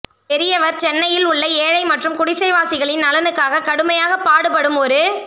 பெரியவர் சென்னையில் உள்ள ஏழை மற்றும் குடிசைவாசிகளின் நலனுக்காக கடுமையாக பாடுபடும் ஒரு